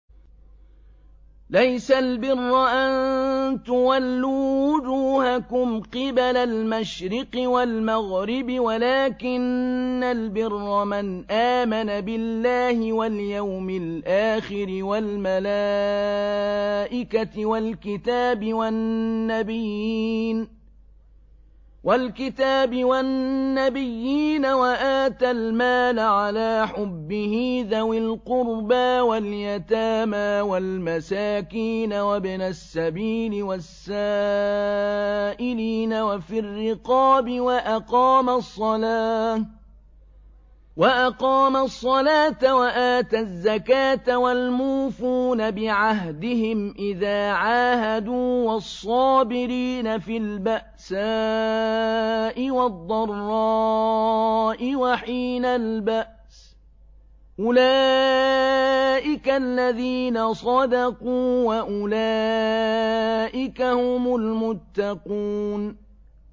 ۞ لَّيْسَ الْبِرَّ أَن تُوَلُّوا وُجُوهَكُمْ قِبَلَ الْمَشْرِقِ وَالْمَغْرِبِ وَلَٰكِنَّ الْبِرَّ مَنْ آمَنَ بِاللَّهِ وَالْيَوْمِ الْآخِرِ وَالْمَلَائِكَةِ وَالْكِتَابِ وَالنَّبِيِّينَ وَآتَى الْمَالَ عَلَىٰ حُبِّهِ ذَوِي الْقُرْبَىٰ وَالْيَتَامَىٰ وَالْمَسَاكِينَ وَابْنَ السَّبِيلِ وَالسَّائِلِينَ وَفِي الرِّقَابِ وَأَقَامَ الصَّلَاةَ وَآتَى الزَّكَاةَ وَالْمُوفُونَ بِعَهْدِهِمْ إِذَا عَاهَدُوا ۖ وَالصَّابِرِينَ فِي الْبَأْسَاءِ وَالضَّرَّاءِ وَحِينَ الْبَأْسِ ۗ أُولَٰئِكَ الَّذِينَ صَدَقُوا ۖ وَأُولَٰئِكَ هُمُ الْمُتَّقُونَ